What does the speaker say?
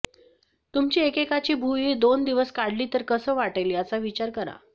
तुमची एकेकाची भुवई दोन दिवस काढली तर कसं वाटेल याचा विचार करा